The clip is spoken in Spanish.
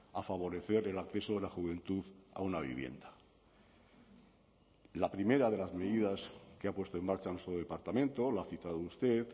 a favorecer el acceso de la juventud a una vivienda la primera de las medidas que ha puesto en marcha nuestro departamento la ha citado usted